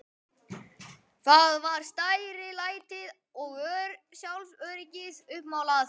Hann var stærilætið og sjálfsöryggið uppmálað.